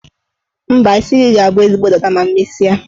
Mba, isi gị ga-abụ ezigbo dada ma m mesie.